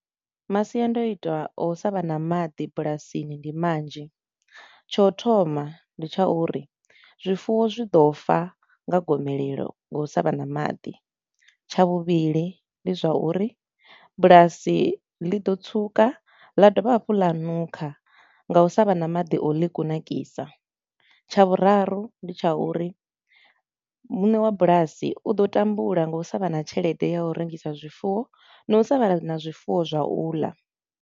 Masiandoitwa a u sa vha na maḓi bulasini ndi manzhi. Tsha u thoma ndi tsha uri zwifuwo zwi ḓo fa nga gomelelo nga u sa vha na maḓi, tsha vhuvhili ndi zwa uri bulasi ḽi ḓo tsuka ḽa dovha hafhu ḽa nukha nga u sa vha na maḓi a u ḽi kunakisa, tsha vhuraru ndi tsha uri muṋe wa bulasi u ḓo tambula nga u sa vha na tshelede ya u rengisa zwifuwo na u sa vha na zwifuwo zwa u ḽa.